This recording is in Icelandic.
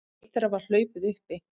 Eitt þeirra var hlaupið uppi